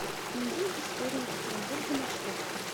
музей истории екатеринбурга маршрут